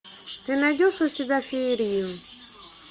ты найдешь у себя феерию